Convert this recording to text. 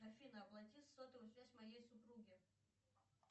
афина оплати сотовую связь моей супруги